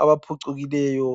abaphucukileyo.